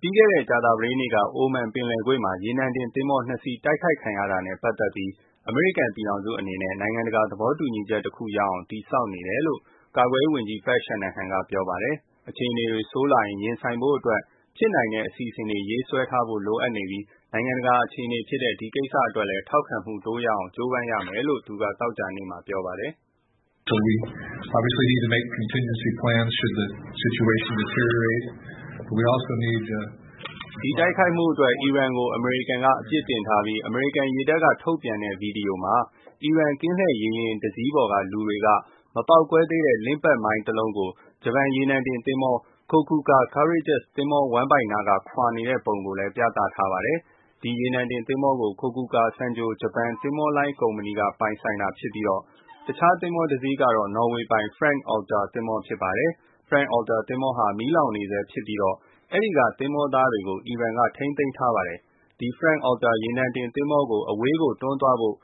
ပြီးခဲ့တဲ့ ကြာသပတေးနေ့ က အိုမန်ပင်လယ်ကွေ့မှာ ရေနံတင်သင်္ဘော နှစ်စီး တိုက်ခိုက်ခံရတာနဲ့ ပတ်သက်ပြီး တုံ့ပြန်ဖို့ အမေရိကန် ပြည်ထောင်စု အနေနဲ့ နိုင်ငံတကာ သဘောတူညီချက် တခုရအောင် တည်ဆောက်နေတယ်လို့ ကာကွယ်ရေး ဝန်ကြီး Pat Shanahan က ပြောပါတယ်။ အခြေအနေတွေ ဆိုးလာရင် ရင်ဆိုင်ဖို့အတွက် ဖြစ်နိုင်တဲ့ အစီအစဉ်တွေ ရေးဆွဲထားဖို့ လိုအပ်နေပြီး နိုင်ငံတကာအခြေအနေဖြစ်တဲ့ ဒီကိစ္စအတွက်လည်း ထောက်ခံမှု တိုးရအောင် ကြိုးပမ်းရမယ်လို့ သူက သောကြာနေ့မှာ ပြောပါတယ်။ ဒီတိုက်ခိုက်မှုအတွက် အီရန်ကို အမေရိကန်က အပြစ်တင်ထားပြီး အမေရိကန် ရေတပ်က ထုတ်ပြန်တဲ့ ဗီဒီယိုမှာ အီရန် ကင်းလှည့်ရေယာဉ် တစီးပေါ်က လူတွေက မပေါက်ကွဲသေးတဲ့ Limpet မိုင်း တလုံးကို ဂျပန် ရေနံတင်သင်္ဘော Kokuka Courageous သင်္ဘော ဝမ်းဗိုက်နားက ခွာနေတဲ့ ပုံ ဗီဒီယိုကို ထုတ်ပြန်ထားတာပါ။ ဒီရေနံတင် သင်္ဘောကို Kokuka Sangyo ဂျပန် သင်္ဘောလိုင်း ကုမ္ပဏီက ပိုင်ဆိုင်တာဖြစ်ပြီး တခြား တစီးကတော့ နော်ဝေပိုင် Front Altair သင်္ဘော ဖြစ်ပါတယ်။ Front Altair သင်္ဘောဟာ မီးလောင်နေဆဲ ဖြစ်ပြီးတော့ အဲ့ဒီက သင်္ဘောသားတွေကို အီရန် ထိန်းသိမ်းထားပါတယ်။ ဒီ Front Altair ရေနံတင် သင်္ဘောကို အဝေးကို တွန်းသွားဖို့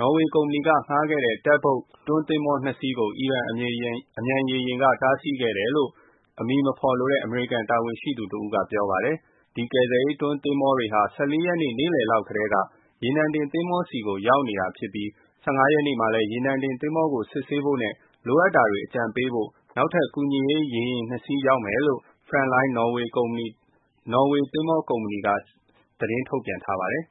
နော်ဝေ ကုမ္ပဏီက ငှားခဲ့တဲ့ Tug boat တွန်း သင်္ဘော နှစ် စီး ကို အီရန် အမြန်ရေယာဉ်တွေက တားဆီးခဲ့တယ်လို့ အမည်မဖော်လိုတဲ့ အမေရိကန် တာဝန်ရှိသူကတဦး က ပြောပါတယ်။ ဒီကယ်ဆယ်ရေး တွန်းသင်္ဘောတွေဟာ ၁၄ ရက်နေ့ နေ့လည်လောက်တည်းက ရေနံတင်သင်္ဘောဆီကို ရောက်နေတာဖြစ်ပြီး ၁၅ ရက်နေ့ မှာလည်း ရေနံတင်သင်္ဘောကို စစ်ဆေးဖို့နဲ့ လိုအပ်တာတွေ အကြံပေးဖို့ နောက်ထပ် ကူညီရေး ရေယာဉ် နှစ် စီး ရောက်မယ်လို့ Frontline နော်ဝေသင်္ဘောကုမ္ပဏီက CEO က သတင်းထုတ်ပြန်ထားပါတယ်